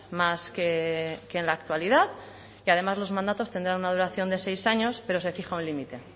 más que en la actualidad y además los mandatos tendrán una duración de seis años pero se fija un límite